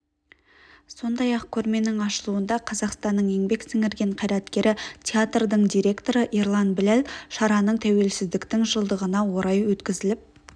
сондай-ақ көрменің ашылуында қазақстанның еңбек сіңірген қайраткері театрдың директоры ерлан біләл шараның тәуелсіздіктің жылдығына орай өткізіліп